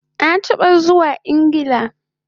Na taba zuwa Ingla